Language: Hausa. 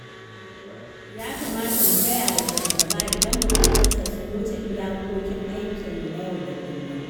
Ya kamata mu gayawa shugaba idan buƙatunsa sun wuce iyakokin aikinmu na yau da kullum.